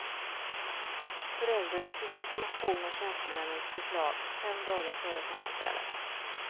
Föräldrarna fick information om tjänstemännens förslag fem dagar före sammanträdet.